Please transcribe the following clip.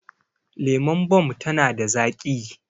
Lemon Bomb tana da zaƙi